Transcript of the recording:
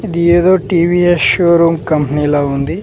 ఇది ఏదో TVS showroom కంపెనీలా ఉంది.